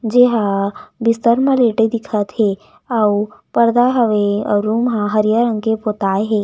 जे हा बिस्तर मे लेटे दिखत हे अउ पर्दा हवे अउ रूम ह हरियर रंग के पोता हे।